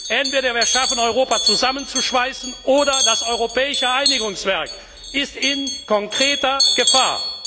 Entweder wir schaffen es, Europa zusammenzuschweißen, oder das europäische Einigungswerk ist in konkreter Gefahr.